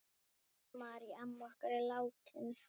Marý amma okkar er látin.